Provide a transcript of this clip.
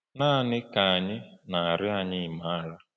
“Naanị Ka Anyị Na-arịọ Anyị Maara.”